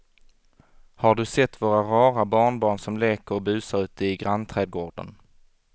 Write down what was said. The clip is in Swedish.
Har du sett våra rara barnbarn som leker och busar ute i grannträdgården!